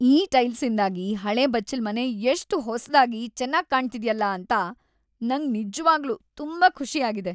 ಈ ಟೈಲ್ಸ್‌ಇಂದಾಗಿ ಹಳೇ ಬಚ್ಚಲ್ಮನೆ ಎಷ್ಟ್‌ ಹೊಸ್ದಾಗಿ, ಚೆನ್ನಾಗ್‌ ಕಾಣ್ತಿದ್ಯಲ ಅಂತ ನಂಗ್ ನಿಜ್ವಾಗ್ಲೂ‌ ತುಂಬಾ ಖುಷಿ ಆಗಿದೆ.